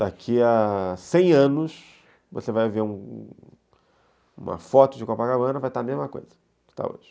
Daqui a cem anos, você vai ver uma foto de Copacabana, vai estar a mesma coisa que está hoje.